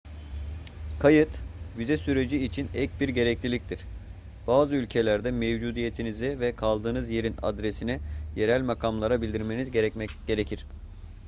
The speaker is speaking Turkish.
kayıt vize süreci için ek bir gerekliliktir bazı ülkelerde mevcudiyetinizi ve kaldığınız yerin adresini yerel makamlara bildirmeniz gerekir